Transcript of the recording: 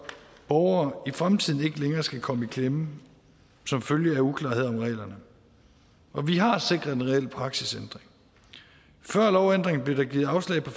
borgere i fremtiden ikke længere skal komme i klemme som følge af uklarhed om reglerne vi har sikret en reel praksisændring før lovændringen blev der givet afslag på